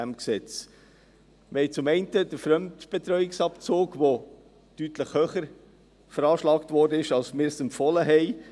Wir haben zum einen den Fremdbetreuungsabzug, welcher deutlich höher veranschlagt wurde, als wir es empfohlen haben.